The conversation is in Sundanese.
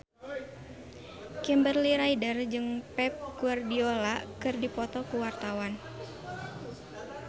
Kimberly Ryder jeung Pep Guardiola keur dipoto ku wartawan